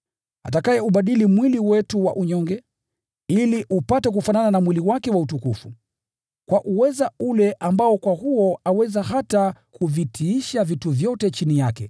atakayeubadili mwili wetu wa unyonge, ili upate kufanana na mwili wake wa utukufu, kwa uweza ule ambao kwa huo aweza hata kuvitiisha vitu vyote chini yake.